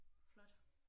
Flot